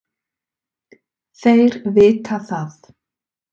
Þeir vita það.